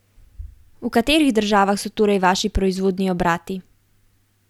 V katerih državah so torej vaši proizvodni obrati?